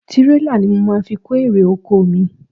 Tirela ni mo máa fi kó ere - oko mi.